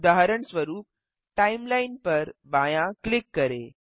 उदाहरणस्वरूप टाइमलाइन पर बायाँ क्लिक करें